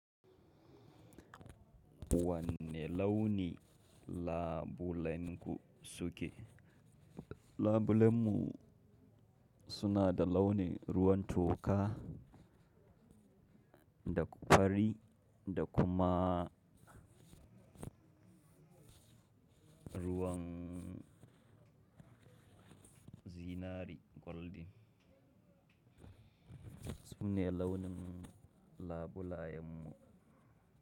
Wanne launi labulenku suke? Labulenmu suna da launin ruwan toka da fari da kuma ruwan zinari golden. Sune launin labulayenmu.